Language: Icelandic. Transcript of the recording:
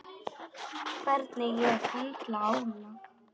Hvernig ég höndla álag.